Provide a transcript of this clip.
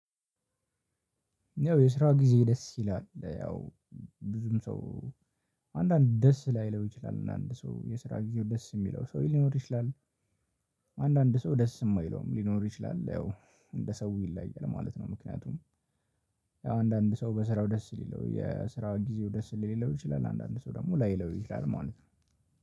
ያው የስራ ጊዜ ደስ ይላል ያው ብዙም ሰው አንዳንድ ደስ ላይለው ይችላል አንዳንድ ሰው የስራ ግዜው ደስ የሚለው ሰው ሊኖር ይችላል። አንዳንድ ሰው ደስ የማይለውም ሊኖር ይችላል ያው እንደ ሰው ይለያያል ማለት ነው። ምክንያቱም ያው አንዳንድ ሰው በስራው ደስ ሊለው የስራ ጊዜው ደስ ሊለው ይችላል። አንዳንድ ሰው ደግሞ ላይለው ይችላል ማለት ነው